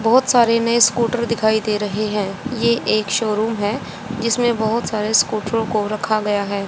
बहुत सारे नए स्कूटर दिखाई दे रहे है ये एक शोरूम है जिसमें बहुत सारे स्कूटरो को रखा गया है।